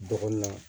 Dɔgɔnɔ